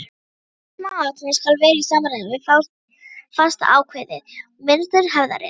Hvert smáatriði skal vera í samræmi við fastákveðið mynstur hefðarinnar.